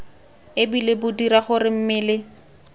ebile bo dira gore mmele